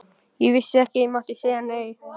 Ég vissi ekki að ég mátti segja nei.